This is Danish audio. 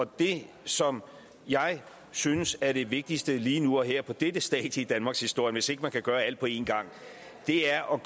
det som jeg synes er det vigtigste lige nu og her på dette stadie i danmarkshistorien hvis ikke man kan gøre alt på en gang er at